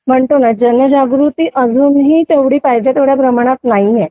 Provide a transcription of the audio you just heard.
म्हणतो ना जनजागृती तुम्ही तेवढी पाहिजे तुम्ही तेवढ्या प्रमाणात नाहीये